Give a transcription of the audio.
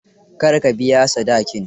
Kar ka biya sadakin.